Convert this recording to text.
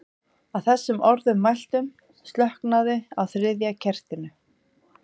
Að þessum orðum mæltum slokknaði á þriðja kertinu.